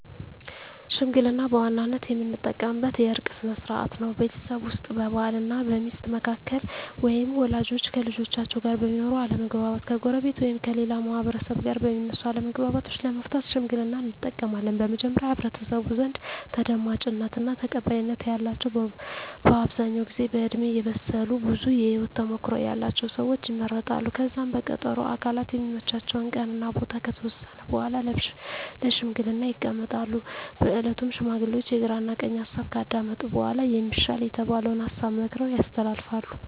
ሽምግልና በዋናነት የምንጠቀምበት የእርቅ ስነ ስርዓት ነው። ቤተሰብ ውስጥ በባል እና ሚስት መካከል ወይም ወላጆች ከልጆቻቸው ጋር በሚኖር አለመግባባት፣ ከጎረቤት ወይም ከሌላ ማህበረሰብ ጋር በሚነሱ አለመግባባቶች ለመፍታት ሽምግልናን እንጠቀማለን። በመጀመሪያ በህብረተሰቡ ዘንድ ተደማጭነት እና ተቀባይነት ያላቸው በአብዛኛው ጊዜ በእድሜ የበሰሉ ብዙ የህወት ተሞክሮ ያለቸው ሰወች ይመረጣሉ። ከዛም በቀጠሮ ሁምም አካላት የሚመቻቸውን ቀን እና ቦታ ከተወሰነ በኃላ ለሽምግልና ይቀመጣሉ። በእለቱም ሽማግሌዎቹ የግራ ቀኝ ሀሳብ ካዳመጡ በኃላ የሚሻል የተባለውን ሀሳብ መክረው ያስተላልፋሉ።